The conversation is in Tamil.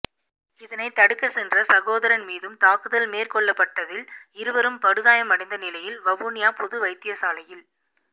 இதனைத்தடுக்கச் சென்ற சகோதரன் மீதும் தாக்குதல் மேற்கொள்ளப்பட்டதில் இருவரும் படுகாயமடைந்த நிலையில் வவுனியா பொது வைத்தியசாலையில்